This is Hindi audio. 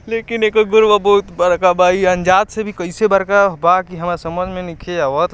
लेकिन एकर गोड़वा बहुत बड़का बा | इ अनजात से भी कैसे बड़का भी समझ में नइखे आवत |